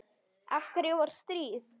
Af hverju var stríð?